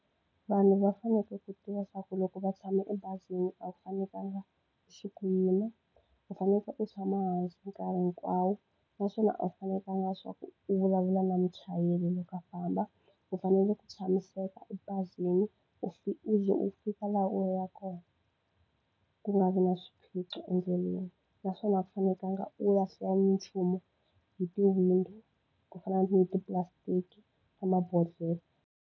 Vanhu va fanekele ku tiva swa ku loko va tshame ebazini a wu fanekelanga u suka u yima, u fanekele u tshama hansi nkarhi hinkwawo. Naswona a wu fanekelanga leswaku u vulavula na muchayeri loko a famba. U fanele ku tshamiseka ebazini, u u ze u fika laha u yaka kona, ku nga vi na swiphiqo endleleni. Naswona a wu fanekelanga u lahla nchumu hi ti-window, ku fana ni tipulastiki na mabodhlele.